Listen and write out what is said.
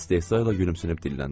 İstehzayla gülümsünüb dilləndi.